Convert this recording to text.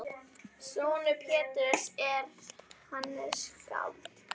Sonur Péturs er Hannes skáld.